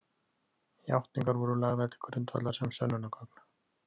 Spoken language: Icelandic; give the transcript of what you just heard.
Játningarnar voru lagðar til grundvallar sem „sönnunargögn“.